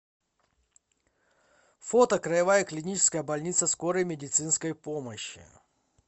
фото краевая клиническая больница скорой медицинской помощи